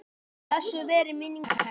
Blessuð veri minning hennar.